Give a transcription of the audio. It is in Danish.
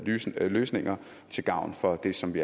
løsninger løsninger til gavn for dem som vi